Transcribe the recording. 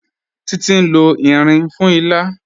Títi n lọ irin fún ìlà.